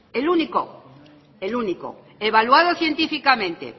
el único el único evaluado científicamente